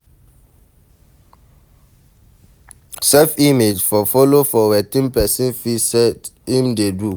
Self image for follow for wetin person feel sey im fit do